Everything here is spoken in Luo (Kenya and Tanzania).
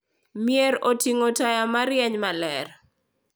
Mier oting’o taya ma rieny maler.